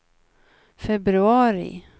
februari